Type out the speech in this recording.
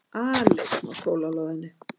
Aleinn á skólalóðinni.